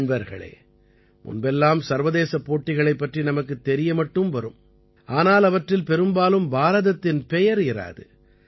நண்பர்களே முன்பெல்லாம் சர்வதேசப் போட்டிகளைப் பற்றி நமக்குத் தெரிய மட்டும் வரும் ஆனால் அவற்றில் பெரும்பாலும் பாரதத்தின் பெயர் இராது